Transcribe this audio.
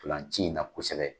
Tolanci in na kosɛbɛ